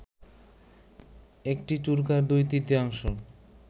একটি টুকরার দুই তৃতীয়াংশ